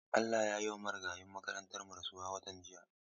Allah ya yiwa Marigayin makarantarmu rasuwa watan jiya.